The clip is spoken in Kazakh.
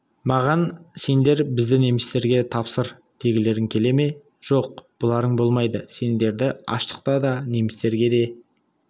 маған сендер бізді немістерге тапсыр дегілерің келе ме жоқ бұларың болмайды сендерді аштыққа да немістерге де